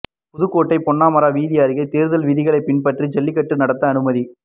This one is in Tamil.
புதுக்கோட்டை பொன்னமராவதி அருகே தேர்தல் விதிகளை பின்பற்றி ஜல்லிக்கட்டு நடத்த அனுமதி